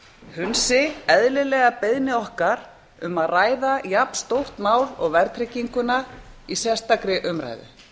hunsi eðlilega beiðni okkar um að ræða jafnstórt mál og verðtrygginguna í sérstakri umræðu